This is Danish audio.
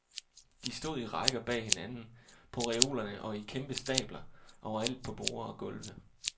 De stod i rækker bag hinanden, på reolerne og i kæmpe stabler overalt på borde og gulve.